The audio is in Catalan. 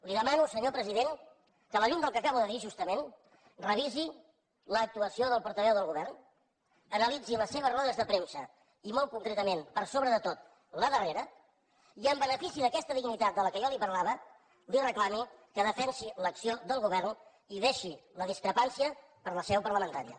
li demano senyor president que a la llum del que acabo de dir justament revisi l’actuació del portaveu del govern analitzi les seves rodes de premsa i molt concretament per sobre de tot la darrera i en benefici d’aquesta dignitat de què jo li parlava li reclami que defensi l’acció del govern i deixi la discrepància per a la seu parlamentària